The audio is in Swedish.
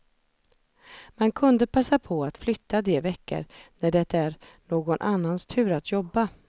Man kunde passa på att flytta de veckor när det är någon annans tur att jobba.